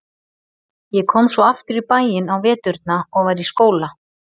Ég kom svo aftur í bæinn á veturna og var í skóla.